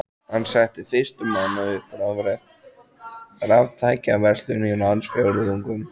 Hann setti fyrstur manna upp raftækjaverslun í landsfjórðungnum.